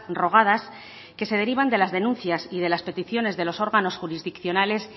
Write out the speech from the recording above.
rogadas que se derivan de las denuncias y de las peticiones de los órganos jurisdiccionales